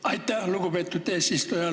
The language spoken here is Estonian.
Aitäh, lugupeetud eesistuja!